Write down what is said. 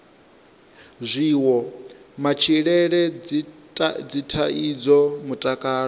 zwiwo matshilele dzithaidzo mutakalo